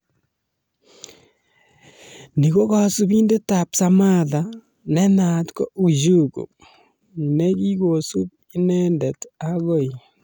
Ni ko kasubindetab Samatta nenaat ko 'Ujugu' ne kikosub inendet agoi